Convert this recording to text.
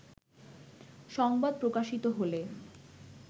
সংবাদ প্রকাশিত হলে